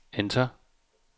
enter